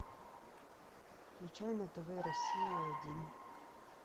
включай на тв россия один